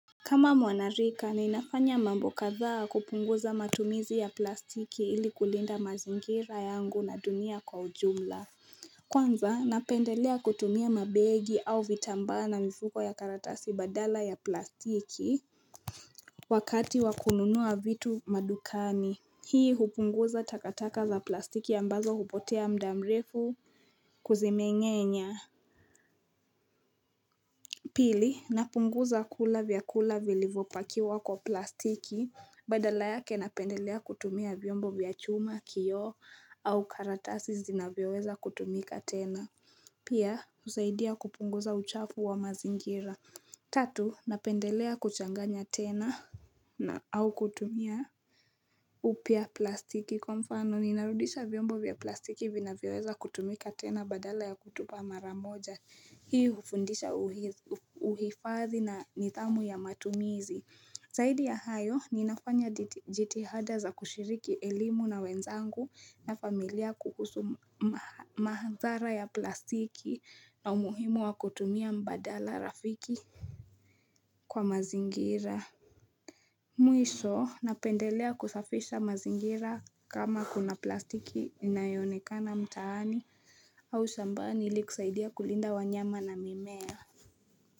Kama mwanarika ninafanya mambo kadhaa kupunguza matumizi ya plastiki ili kulinda mazingira yangu na dunia kwa ujumla Kwanza napendelea kutumia mabegi au vitambaa na mifuko ya karatasi badala ya plastiki Wakati wakununua vitu madukani Hii hupunguza takataka za plastiki ambazo hupotea muda mrefu kuzimengenya Pili, napunguza kula vyakula vilivyopakiwa kwa plastiki, badala yake napendelea kutumia vyombo vya chuma, kioo, au karatasi zinavyoweza kutumika tena. Pia, husaidia kupunguza uchafu wa mazingira. Tatu, napendelea kuchanganya tena na au kutumia upya plastiki. Kwa mfano, ninarudisha vyombo vya plastiki vinavyoweza kutumika tena badala ya kutupa maramoja. Hii hufundisha uhifadhi na nidhamu ya matumizi. Zaidi ya hayo, ninafanya jitihada za kushiriki elimu na wenzangu na familia kuhusu mahadhara ya plastiki na umuhimu wa kutumia mbadala rafiki kwa mazingira. Mwisho napendelea kusafisha mazingira kama kuna plastiki inayonekana mtaani au shambani ili kusaidia kulinda wanyama na mimea.